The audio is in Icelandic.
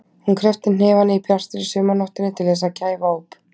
Hún kreppti hnefana í bjartri sumarnóttinni til þess að kæfa óp.